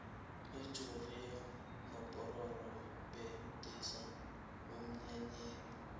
ujoriyo nopororo bxnandisa emnyanyeni